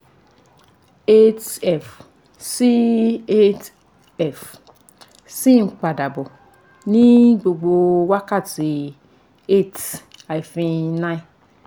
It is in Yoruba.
8 f) sì 8 f) sì ń padà bọ̀ ní gbogbo wákàtí 8-9